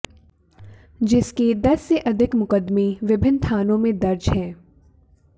जिसके दस से अधिक मुकदमें विभिन्न थानों में दर्ज हैं